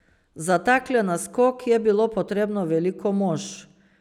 Za takle naskok je bilo potrebno veliko mož.